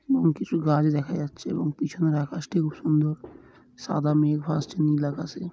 এবং কিছু গাছ দেখা যাচ্ছে এবং পিছনের আকাশটি খুব সুন্দর সাদা মেঘ ভাসছে নীল আকাশে।